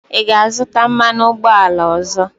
Ị ga-azụta mmanụ ụgbọala ọzọ?